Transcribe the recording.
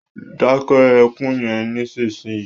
Dáké ekún yen nísìsiyìí!